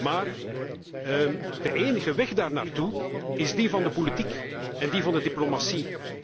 Maar de enige weg daar naartoe is die van de politiek en die van de diplomatie.